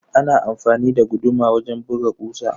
Ana amfani da guduma wajen buga kusa.